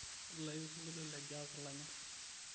tadalayu osinkoilio le Jazz lanyor